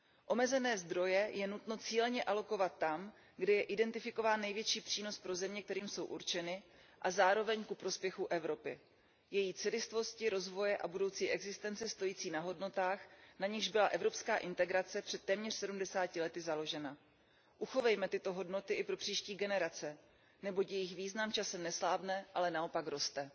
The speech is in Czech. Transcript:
Omezené zdroje je nutno cíleně alokovat tam, kde je identifikován největší přínos pro země, kterým jsou určeny, a zároveň ku prospěchu Evropy, její celistvosti, rozvoje a budoucí existence stojící na hodnotách, na nichž byla evropská integrace před téměř sedmdesáti lety založena. Uchovejme tyto hodnoty i pro příští generace, neboť jejich význam časem neslábne, ale naopak roste.